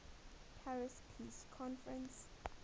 paris peace conference